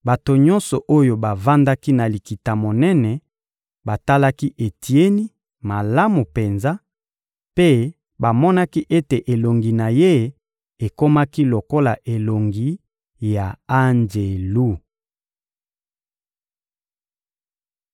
Bato nyonso oyo bavandaki na Likita-Monene batalaki Etieni malamu penza, mpe bamonaki ete elongi na ye ekomaki lokola elongi ya anjelu.